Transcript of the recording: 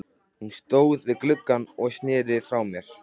Hann stóð við gluggann og sneri frá mér.